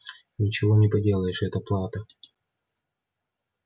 ничего не поделаешь это плата